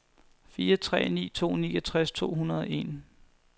fire tre ni to niogtres to hundrede og en